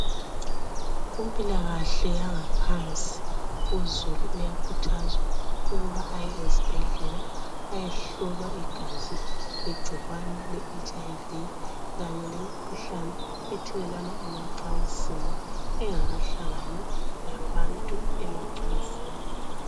Kumpilakahle yangaphansi uzulu uyakhuthazwa ukuba aye ezibhedlela ayehlolwa igazi, igcikwane leHIV kanye lemikhuhlane ethelelwana emacansini engakahlangani labantu emacansini.